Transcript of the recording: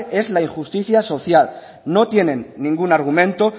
es la injusticia social no tienen ningún argumento